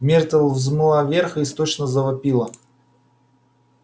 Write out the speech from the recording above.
миртл взмыла вверх и истошно завопила